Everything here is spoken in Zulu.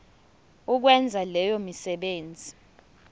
ukwenza leyo misebenzi